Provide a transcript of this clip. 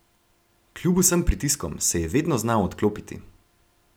Kljub vsem pritiskom se je vedno znal odklopiti.